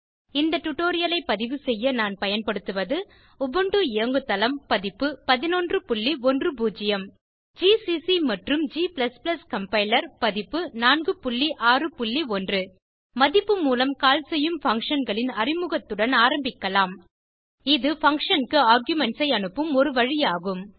இந்த டுடோரியலை பதிவு செய்ய நான் பயன்படுத்துவது உபுண்டு இயங்கு தளம் பதிப்பு 1110 ஜிசிசி மற்றும் g கம்பைலர் பதிப்பு 461 மதிப்பு மூலம் கால் செய்யும் functionகளின் அறிமுகத்துடன் ஆரம்பிக்கலாம் இது பங்ஷன் க்கு ஆர்குமென்ட்ஸ் ஐ அனுப்பும் ஒரு வழி ஆகும்